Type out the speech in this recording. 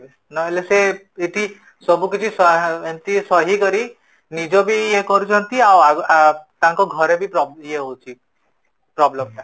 ନହେଲେ ଏଇଠି ସବୁ କିଛି ଏମିତି ସହି କରି ନିଜବି ୟେ କରୁଛନ୍ତି ଆଉ ତାଙ୍କ ଘରବି ୟେ ହୋଉଛି problem ଟା